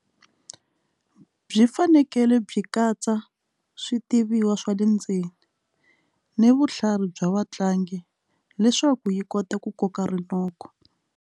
Byi fanekele byi katsa switibiwa swa le ndzeni ni vutlhari bya vatlangi leswaku yi kota ku koka rinoko.